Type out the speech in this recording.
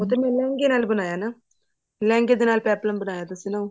ਉਹ ਤਾਂ ਮੈਂ ਲਹਿੰਗੇ ਨਾਲ ਬਣਾਇਆ ਨਾ ਲਹਿੰਗੇ ਦੇ ਨਾਲ problem ਬਣਾਇਆ ਦੱਸਣਾ ਉਹ